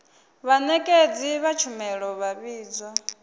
vhanekedzi vha tshumelo vha vhidzwa